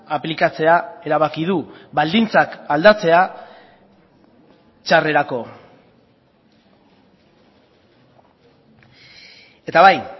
aplikatzea erabaki du baldintzak aldatzea txarrerako eta bai